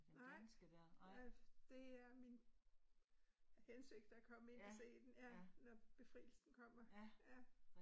Nej, øh det er min hensigt at komme ind og se den ja Når Befrielsen Kommer, ja